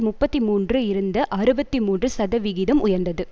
முப்பத்தி மூன்று இருந்த அறுபத்தி மூன்று சதவிகிதம் உயர்ந்தது